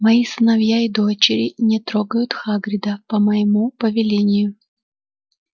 мои сыновья и дочери не трогают хагрида по моему повелению